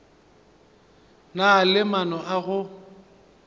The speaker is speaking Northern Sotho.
na le maano a go